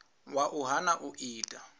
wa u hana u ita